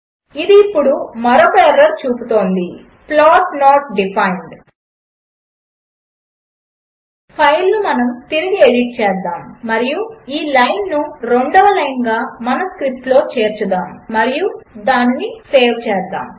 అది ఇప్పుడు మరొక ఎర్రర్ చూపుతోంది ప్లాట్ నోట్ డిఫైన్డ్ ఫైల్ను మనము తిరిగి ఎడిట్ చేద్దాము మరియు ఈ లైన్ను రెండవ లైన్గా మన స్క్రిప్ట్లో చేర్చుదాము మరియు దానిని సేవ్ చేద్దాము